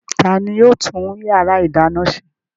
Ta ni yóò tún ìyàrá-ìdáná ṣe?